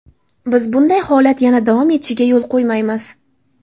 Biz bunday holat yana davom etishiga yo‘l qo‘ymaymiz.